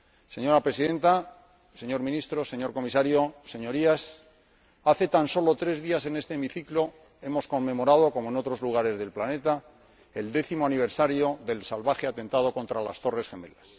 Señora Presidenta, señor Ministro, señor Comisario, Señorías, hace tan sólo tres días en este Hemiciclo hemos conmemorado, como en otros lugares del planeta, el décimo aniversario del salvaje atentado contra las Torres Gemelas.